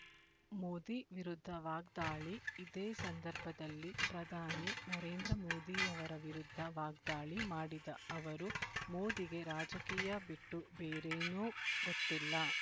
ಮೋದಿ ವಿರುದ್ಧ ವಾಗ್ದಾಳಿ ಇದೇ ಸಂದರ್ಭದಲ್ಲಿ ಪ್ರಧಾನಿ ನರೇಂದ್ರ ಮೋದಿಯವರ ವಿರುದ್ಧ ವಾಗ್ದಾಳಿ ಮಾಡಿದ ಅವರು ಮೋದಿಗೆ ರಾಜಕೀಯ ಬಿಟ್ಟು ಬೇರೇನೋ ಗೊತ್ತಿಲ್ಲ